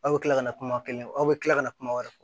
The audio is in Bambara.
Aw bɛ tila ka na kuma kelen aw bɛ tila ka na kumaw